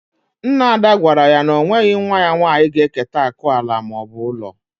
Nna Ada gwara ya na o nweghị nwa ya nwanyị ga eketa akụ ala maọbụ ụlọ